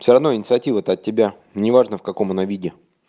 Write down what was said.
всё равно инициатива то от тебя не важно в каком она виде